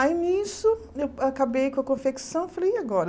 Aí, nisso, eu acabei com a confecção, falei, e agora?